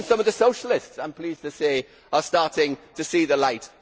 Even some of the socialists, I am pleased to say, are starting to see the light.